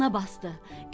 Bağrına basdı.